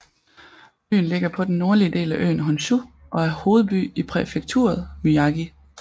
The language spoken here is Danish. Byen ligger på den nordlige del af øen Honshu og er hovedby i præfekturet Miyagi